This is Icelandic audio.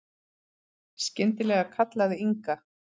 Skyndilega kallaði Inga